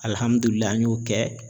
Alihamdullila an y'o kɛ